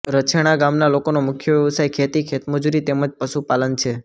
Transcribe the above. રાછેણા ગામના લોકોનો મુખ્ય વ્યવસાય ખેતી ખેતમજૂરી તેમ જ પશુપાલન છે